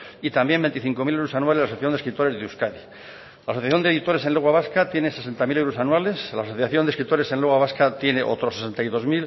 y también veinticinco mil euros anuales a la asociación de escritores de euskadi la asociación de editores en lengua vasca tiene sesenta mil euros anuales la asociación de escritores en lengua vasca tienen otros sesenta y dos